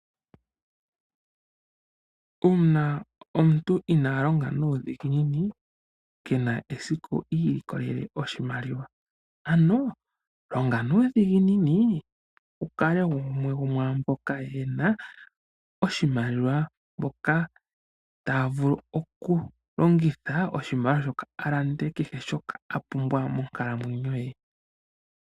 Uuna omuntu inaa longa nuudhiginini ke na esiku I ilikolele oshimaliwa. Ano longa nuudhiginini wu kale gumwe go mwaa mboka ye na oshimaliwa mboka taya vulu okulongitha oshimaliwa shoka a lande kehe shoka a pumbwa monkalamwenyo ye.